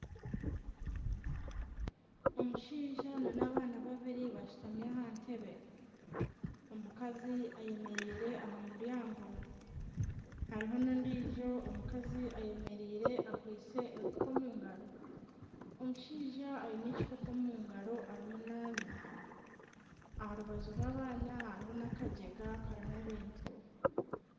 Omushaija nana abaana babiri bashutami aha ntebbe omukazi ayemereire aha muryango hariho n'ondiijo omukazi ayemereire akwaitse enfuka omungaro omushaija aine ekikopo omungaro arimu nanywa aha rubaju rw'abaana hariho nana akajega karimu ebintu.